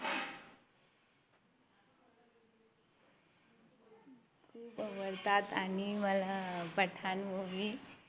खूप आवडतात आणि मला पठाण Movie